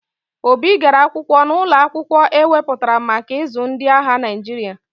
Obi gara akwụkwọ n'ụlọ akwụkwọ e weputara maka ịzụ ndị agha Naịjirịa.